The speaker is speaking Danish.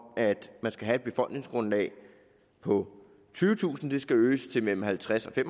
at man skal have et befolkningsgrundlag på tyvetusind til mellem halvtredstusind